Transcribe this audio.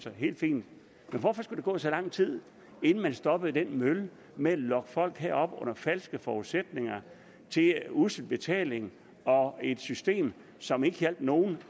helt fint men hvorfor skulle der gå så lang tid inden man stoppede den mølle med at lokke folk herop under falske forudsætninger til en ussel betaling og et system som ikke hjalp nogen